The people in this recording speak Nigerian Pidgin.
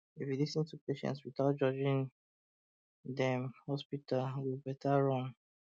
if you lis ten to patient without judging um dem hospital go better run